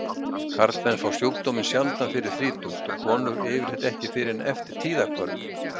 Karlmenn fá sjúkdóminn sjaldan fyrir þrítugt og konur yfirleitt ekki fyrr en eftir tíðahvörf.